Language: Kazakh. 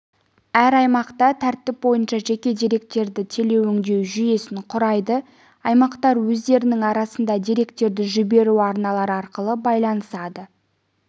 әр аймақта тәртіп бойынша жеке деректерді телеөңдеу жүйесін құрайды аймақтар өздерінің арасында деректерді жіберу арналары арқылы байланысады